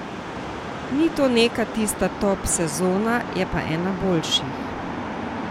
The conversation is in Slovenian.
Ni to neka tista top sezona, je pa ena boljših.